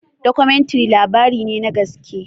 Dokomintiri labarine na gaske